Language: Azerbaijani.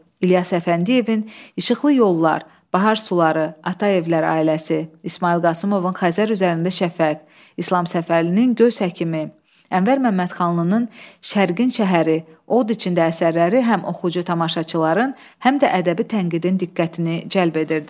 İlyas Əfəndiyevin İşıqlı yollar, Bahar suları, Ataevlər ailəsi, İsmayıl Qasımovun Xəzər üzərində şəfəq, İslam Səfərlinin Göz həkimi, Ənvər Məmmədxanlının Şərqin şəhəri, Od içində əsərləri həm oxucu tamaşaçıların, həm də ədəbi tənqidin diqqətini cəlb edirdi.